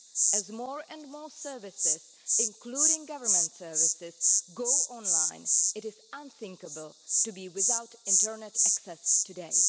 As more and more services, including government services, go online, it is unthinkable to be without internet access today.